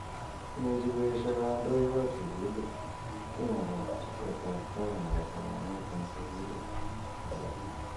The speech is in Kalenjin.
Imuch koesho kandoik ab sukulit ki nebo teset ab tai nebo somanet eng sukuli nebo chi.